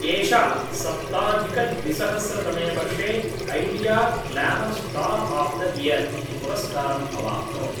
एषा सप्ताधिकद्विसहस्रतमे वर्षे ऐडियाग्लामर् स्टार्आफ्दइयर् इति पुरस्कारम् अवाप्नोत्